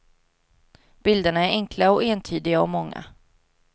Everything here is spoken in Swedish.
Bilderna är enkla och entydiga och många.